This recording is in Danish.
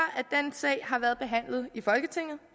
sag har været behandlet i folketinget